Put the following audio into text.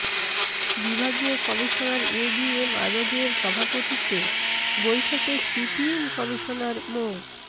বিভাগীয় commissioner ABM আজাদের সভাপতিত্বে বৈঠকে সিএমপি কমিশনার মো